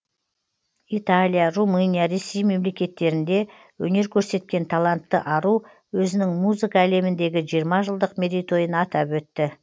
италия румыния ресей мемлекеттерінде өнер көрсеткен талантты ару өзінің музыка әлеміндегі жиырма жылдық мерейтойын атап өтті